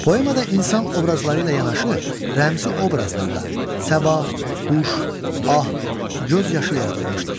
Poemada insan obrazları ilə yanaşı rəmzi obrazlarda Səba, Huş, Ah, göz yaşı yaradılmışdır.